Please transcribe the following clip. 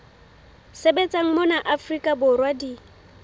sebetsang mona afrika borwa di